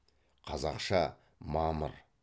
қазақша мамыр